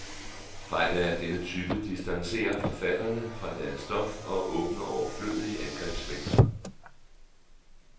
Fejl af denne type distancerer forfatterne fra deres stof og åbner overflødige angrebsvinkler.